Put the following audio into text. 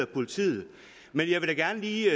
politiet men jeg vil da gerne lige